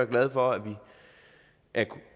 glad for at